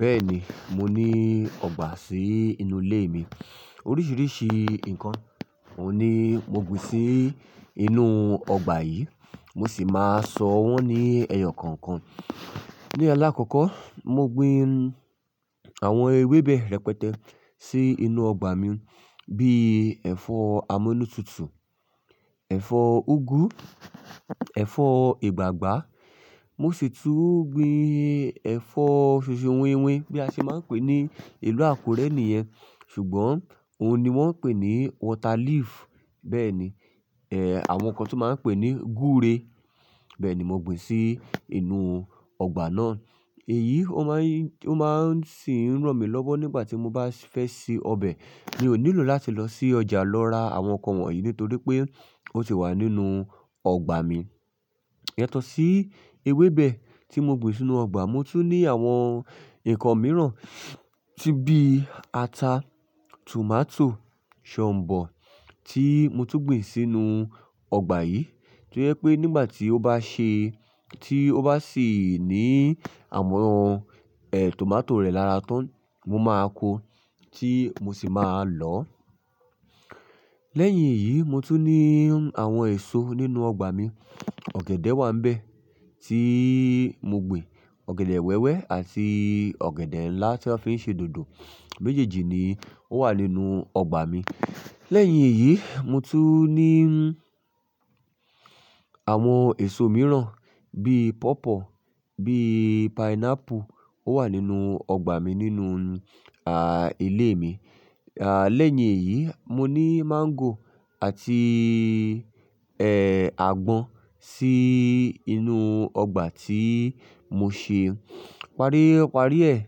Bẹ́ẹ̀ni, mo ní ọgbà sí inú ilé mi. Oríṣiríṣi ǹkan ohun ni mo gbìn sí inú ọgbà yìí, mo sì máa sọ wọ́n ní ẹyọ kọ̀ọ̀kan. Ni alakọkọ, mo gbìn àwọn ewébẹ̀ rẹpẹtẹ sí inú ọgbà mi bíi ẹ̀fọ́ amúnútutù, ẹ̀fọ́ úgú, ẹ̀fọ́ ìgbàgbá. Mo sì tún gbìn ẹ̀fọ́ sèsè wínwin bí a ṣe máa ń pè ní ìlú Àkúrẹ́ nìyẹn, ṣùgbọ́n òun ni wọ́n ń pè ní water leaf. Bẹ́ẹ̀ ni, eh, àwọn kan tun máa ń pè ní gúre. Bẹ́ẹ̀ ni mo gbìn sí inú ọgbà náà. Èyí, ó máa ń, ó máa ń sì ń ràn mí lọ́wọ́ nígbà tí mo bá fẹ́ se ọbẹ̀. Mi ò nílò láti lọ sí ọjà lọ ra àwọn nǹkan wọ̀nyí nítorí pé ó ti wà nínú ọgbà mi. Yatọ̀ sí ewébẹ̀ tí mo gbìn sínú ọgbà, mo tún ní àwọn nǹkan mìíràn tí bí ata, tomato, shombo tí mo tún gbìn sínú ọgbà yìí. Ó jẹ́ pé nígbà tí ó bá ṣe, tí ó bá sì ní àwọn, ẹ́, tomato rẹ̀ lára tán, mo máa kó, tí mo sì máa lọ̀ ọ́. Lẹ́yìn èyí, mo tún ní àwọn èso nínú ọgbà mi. Ọ̀gẹ̀dẹ̀ wà nbẹ̀ tí mo gbìn, ọ̀gẹ̀dẹ̀ wẹ́wẹ́ àti ọ̀gẹ̀dẹ̀ ńlá tí a fi ń ṣe dòdò. Méjèèjì ni ó wà nínú ọgbà mi. Lẹ́yìn èyí, mo tún ní àwọn èso mìíràn bíi pọ̀pọ́, bíi pineapple ó wà nínú ọgbà mi nínú, à, ilé mi. À, lẹ́yìn èyí, mo ní máńgò àti, ẹ́, àgbọn sí inú ọgbà tí mo ṣe. Parí parí ẹ̀,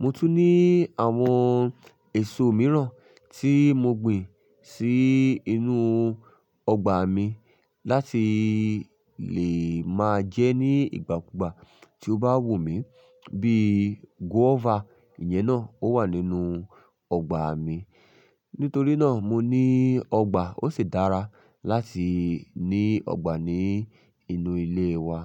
mo tún ní àwọn èso mìíràn tí mo gbìn sí inú ọgbà mi láti lè máa jẹ ní ìgbà kúgbà tí ó bá wù mí bíi guava. Ìyẹn náà ó wà nínú ọgbà mi. Nítorí náà, mo ní ọgbà. Ó sì dára láti ní ọgbà ní inú ilé wa.